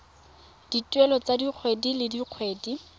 dituelo tsa kgwedi le kgwedi